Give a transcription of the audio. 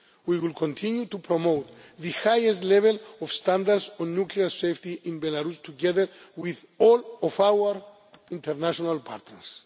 We will continue to promote the highest level of standards on nuclear safety in Belarus, together with all of our international partners.